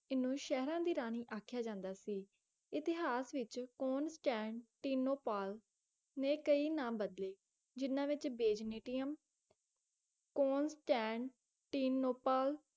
ਇਹਨੂੰ ਸ਼ਹਿਰਾਂ ਦੀ ਰਾਣੀ ਆਖਿਆ ਜਾਂਦਾ ਸੀ ਇਤਿਹਾਸ ਵਿੱਚ ਕੌਂਸਟੈਂਟੀਨੋਪੋਲ ਨੇ ਕਈ ਨਾਮ ਬਦਲੇ ਜਿਨ੍ਹਾਂ ਵਿੱਚ ਬੇਜ਼ਨੀਟਿਅਮ ਕੌਂਸਟੈਂਟੀਨੋਪੋਲ